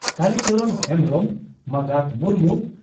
ᱠᱟᱞᱤ ᱪᱚᱨᱚᱱ ᱦᱮᱢᱵᱽᱨᱚᱢ ᱢᱟᱸᱜᱟᱛ ᱢᱩᱨᱢᱩ